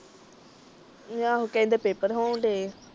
ਆਹੋ ਕਹਿੰਦੇ ਪੇਪਰ ਹੋਣ ਡਏ ਆ।